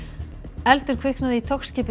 eldur kviknaði í